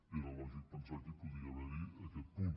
era lògic pensar que hi podia haver aquest punt